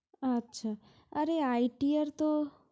আচ্ছা আরে ITR তো